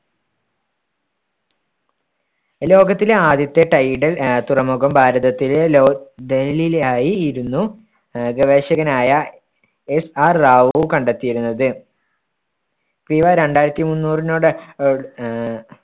ലോകത്തിലെ ആദ്യത്തെ tidal ആഹ് തുറമുഖം ഭാരതത്തിലെ ലോക് ആയിരുന്നു ആഹ് ഗവേഷകനായ SR റാവു കണ്ടെത്തിയിരുന്നത്. രണ്ടായിരത്തി മുന്നൂറിനോട് ആഹ്